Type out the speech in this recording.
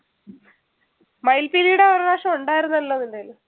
മയിൽ പീലിയുടെ ഒരുപ്രാവശ്യം ഉണ്ടായിരുന്നല്ലോ നിൻറെയിൽ